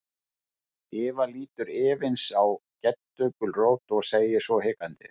Eva lítur efins á Geddu gulrót og segir svo hikandi.